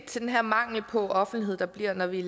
til den her mangel på offentlighed der bliver når vi